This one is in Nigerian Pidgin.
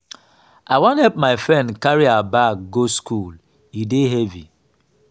i wan help my friend carry her bag go skool e dey heavy.